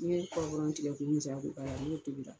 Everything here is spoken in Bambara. Ni n ye tigɛ k'u misɛya k'u k'a la n'i y'o tulu ta